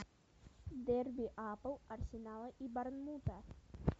дерби апл арсенала и борнмута